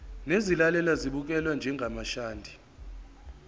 nezilalelwa zibukelwe njengamashadi